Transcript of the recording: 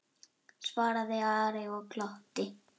svaraði Ari og glotti.